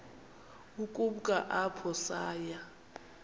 ukumka apho saya